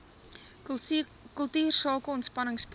kultuursake ontspanning paaie